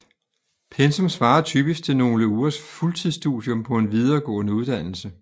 Pensum svarer typisk til nogle ugers fuldtidsstudium på en videregående uddannelse